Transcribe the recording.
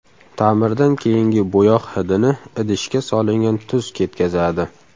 Ta’mirdan keyingi bo‘yoq hidini idishga solingan tuz ketkazadi.